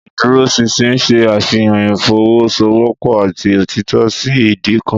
Ìdúróṣinṣin ṣe àfihàn ìfọwọ́sowọ́pọ̀ àti òtítọ́ sí ìdí kan.